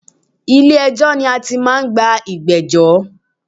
Ilè ẹjọ́ ni a ti máa n gbọ́ ìgbéjọ́